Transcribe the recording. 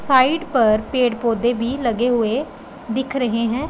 Side पर पेड़ पौधे भी लगे हुए दिख रहे हैं।